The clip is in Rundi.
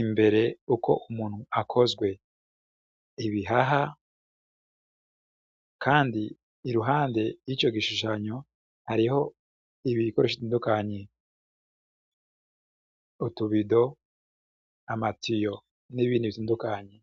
imbere uko umuntu akozwe ibihaha, kandi iruhande y'ico gishushanyo hariho ibibikorosha izindukanye uutubido amatiyo n'ibindi byundukanyi.